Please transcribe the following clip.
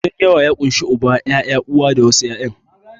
Gidan yawa ya ƙunshi Uba, Uwa, ƴaƴa da wasu ƴan'uwan.